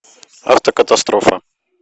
автокатастрофа